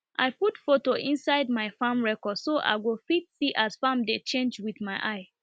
i put photo inside my farm record so i go fit see as farm dey change with my eye